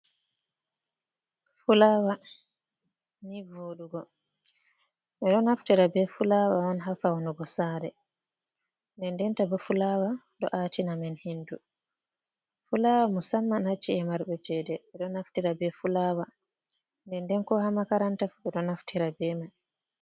Fulaawa, nii vooɗugo, ɓe ɗo naftira be fulaawa on ha fawnugo saare, nden ndenta bo fulaawa ɗo aatina men hendu, fulaawa musamman ha ci’e marɓe cheede ɓe ɗo naftira be fulaawa, nden nden ko ha makaranta fu ɓe ɗo naftira be mai.